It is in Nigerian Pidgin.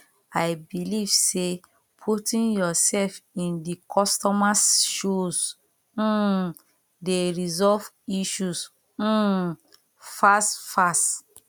i believe say putting yourself in di customers shoes um dey resolve issues um fast fast